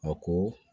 A ko